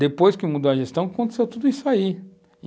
Depois que mudou a gestão, aconteceu tudo isso aí.